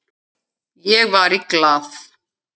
Ég var í Glað.